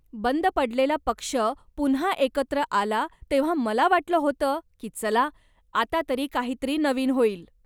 बंद पडलेला पक्ष पुन्हा एकत्र आला तेव्हा मला वाटलं होतं की चला, आता तरी काहीतरी नवीन होईल.